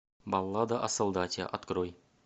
баллада о солдате открой